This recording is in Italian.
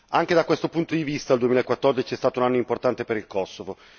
Anche da questo punto di vista il 2014 è stato un anno importante per il Kosovo.